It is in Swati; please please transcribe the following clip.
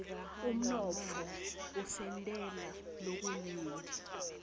umnotfo usentela lokunyenti